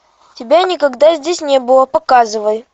тебя никогда здесь не было показывай